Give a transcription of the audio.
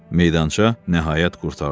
Meydança nəhayət qurtardı.